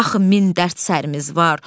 Axı min dərd sərimiz var.